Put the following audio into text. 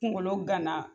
Kunkolo gana